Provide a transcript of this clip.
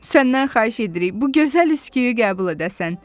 Səndən xahiş edirik bu gözəl üsküyü qəbul edəsən.